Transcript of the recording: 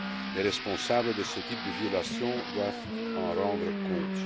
Les responsables de ce type de violations doivent en rendre compte.